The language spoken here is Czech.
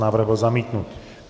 Návrh byl zamítnut.